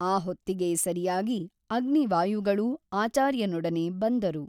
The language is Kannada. ಆ ಹೊತ್ತಿಗೆ ಸರಿಯಾಗಿ ಅಗ್ನಿವಾಯುಗಳೂ ಆಚಾರ್ಯನೊಡನೆ ಬಂದರು.